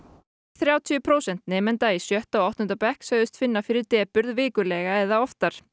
þrjátíu prósent nemenda í sjötta og áttunda bekk sögðust finna fyrir depurð vikulega eða oftar